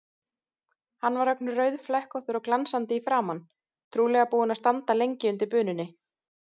Hann var ögn rauðflekkóttur og glansandi í framan, trúlega búinn að standa lengi undir bununni.